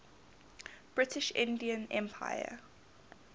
british indian empire